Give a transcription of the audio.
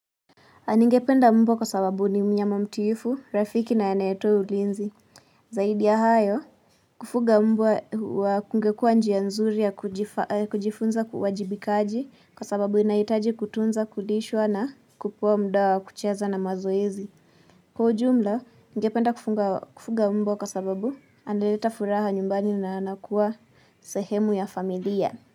Ningependa mbwa kwa sababu ni mnyama mtiifu, rafiki na anayetoa ulinzi. Zaidi ya hayo, kufuga mbwa wa kungekua njia nzuri ya kujifunza uwajibikaji kwa sababu inahitaji kutunza, kulishwa na kupewa muda wa kucheza na mazoezi. Kwa ujumla, ningependa kufuga mbwa kwa sababu analeta furaha nyumbani na anakuwa sehemu ya familia.